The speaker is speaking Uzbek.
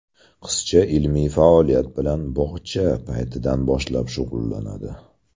Qizcha ilmiy faoliyat bilan bog‘cha paytidan boshlab shug‘ullanadi.